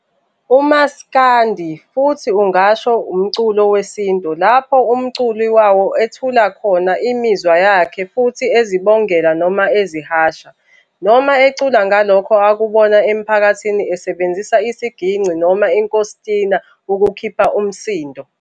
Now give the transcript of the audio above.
UMasikandi futhi ungasho umculo wesintu lapho umculi wawo ethula khona imizwa yakhe futhi ezibongela noma ezihasha, noma ecula ngalokho akubona emphakathini esebenzisa isiginci noma inkostina ukukhipha imisindo.